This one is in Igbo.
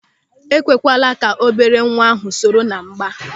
Ekwekwala ka obere nwa ahụ soro ná mgba!